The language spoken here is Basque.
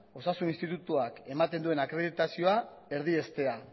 osasun institutuak ematen duen akreditazioa erdiestea